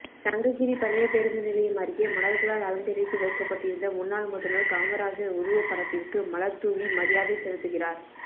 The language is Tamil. சங்ககிரி பழைய பேருந்து நிலையம் அருகே மலர்களால் அலங்கரித்து வைக்கப்பட்டிருந்த முன்னாள் முதல்வர் காமராஜர் உருவப்படத்திற்கு மலர்தூவி மரியாதை செலுத்துகிறார்